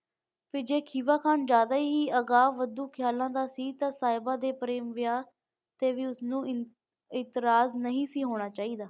ਫਿਰ ਜੇ ਖੀਵਾ ਖਾਣ ਜ਼ਿਆਦਾ ਹੀ ਅਗਾਂਹ ਵਧੂ ਖਿਆਲਾਂ ਦਾ ਸੀ ਤੇ ਸਾਹਿਬਾ ਦੇ ਪ੍ਰੇਮ ਵਿਆਹ ਤੇ ਵੀ ਉਸਨੂੰ ਇਤਰਾਜ਼ ਨਹੀਂ ਹੋਣਾ ਚਾਹੀਦਾ